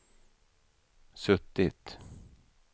suttit